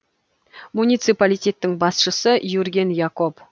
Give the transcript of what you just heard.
муниципалитеттің басшысы юрген якоб